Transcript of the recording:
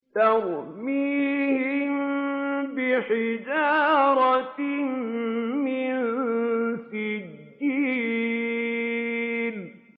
تَرْمِيهِم بِحِجَارَةٍ مِّن سِجِّيلٍ